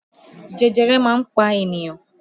Jẹjẹrẹ máa ń pa ènìyàn